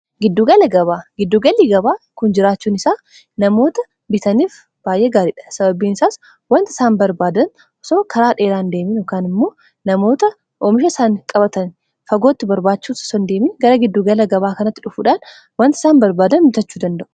giddugalii gabaa kun jiraachuun isaa namoota bitaniif baay'ee gaariidha sababiin isaas wanta isaan barbaadan soo karaa dheeraan deeminukaan immoo namoota oomisha isaan qabatan fagootti barbaachuu sondeemin gara giddugala gabaa kanatti dhufuudhaan wanta isaan barbaadan bitachuu danda'u